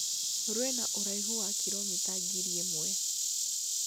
Rwĩna ũraihu wa kiromita ngiri ĩmwe